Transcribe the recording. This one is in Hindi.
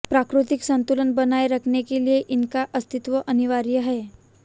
प्राकृतिक संतुलन बनाये रखने के लिए इनका अस्तित्व अनिवार्य है